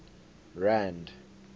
rand